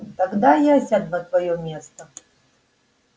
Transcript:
тогда я сяду на твоё место